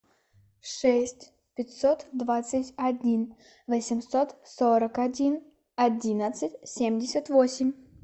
шесть пятьсот двадцать один восемьсот сорок один одиннадцать семьдесят восемь